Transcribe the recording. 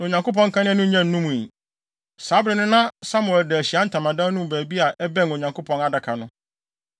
Na Onyankopɔn kanea no nnya nnumii. Saa bere no na Samuel da Ahyiae Ntamadan no mu baabi a ɛbɛn Onyankopɔn adaka no.